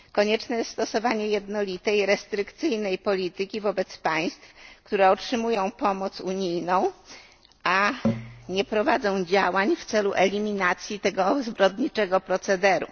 Konieczne jest stosowanie jednolitej restrykcyjnej polityki wobec państw, które otrzymują pomoc unijną, a nie prowadzą działań w celu eliminacji tego zbrodniczego procederu.